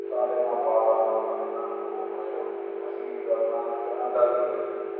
ਸਾਡੇ ਨਾ ਬਾਟਾ ਦੇ ਸਾਡੇ ਨਾ ਬੂਟ ਪਾਏ ਹੋਣੇ, ਅਸੀਂ ਕੀ ਕਰਨਾ ਇੱਕ ਨਾ ਡਲੀ ਲੈ ਲੈਣੀ,